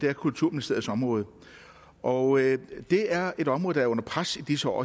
er kulturministeriets område og det er et område der er under pres i disse år